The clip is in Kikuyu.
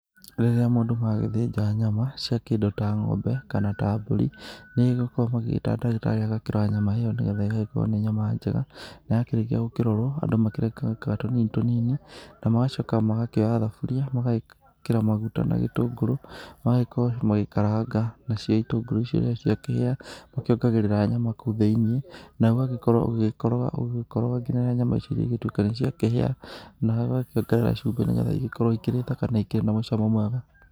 Rĩrĩa mũndũ magĩthĩnja nyama cia kĩndũ ta ng'ombe kana ta mbũri, nĩigĩkoro magĩgĩta ndagĩtarĩ agakĩrora kana nyama ĩyo nĩgetha ĩgagĩkorwo nĩ nyama njega. Na ya kĩrĩkia gũkĩrorwo, andũ makĩrekakaga tũnini tũnini na magacoka magakĩoya thaburia, magekĩra maguta na gĩtũngũrũ magagĩkorwo magĩkaranga. Nacio itũngũrũ icio rĩrĩa ciakĩhĩa, makĩongagĩrĩra nyama kũu thĩiniĩ na ũgagĩkorwo ũgĩgĩkoroga ũgĩgĩkoroga nginya rĩrĩa nyama icio irĩgĩtuĩka nĩciakĩhĩa, nawe ũgakĩongerera cubĩ nĩgetha igĩkorwo ikĩrĩ thaka na ikĩrĩ na mũcamo mwega.